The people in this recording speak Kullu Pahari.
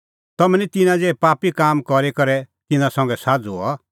तम्हैं निं तिन्नां ज़िहै पापी काम करी करै तिन्नां संघै साझ़ू हआ